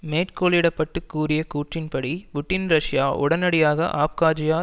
மேற்கோளிடப்பட்டு கூறிய கூற்றின்படி Putin Russia உடனடியாக அப்காஜியா